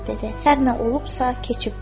"Hər nə olubsa, keçibdir.